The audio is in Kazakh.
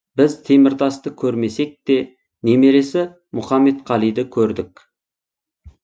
біз теміртасты көрмесек те немересі мұқамедқалиды көрдік